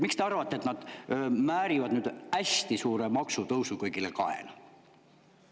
Miks te arvate, et nad määrivad nüüd hästi suure maksutõusu kõigile kaela?